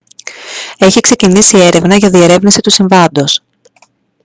έχει ξεκινήσει έρευνα για διερεύνηση του συμβάντος